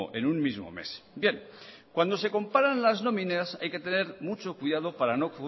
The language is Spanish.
en un mismo mes bien cuando se comparan las nóminas hay que tener mucho cuidado para no